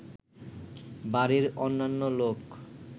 বাড়ির অন্যান্য লোক